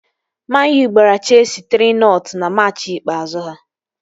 Man-U gbara cheesi 3-nọt na machị ikpeazụ ha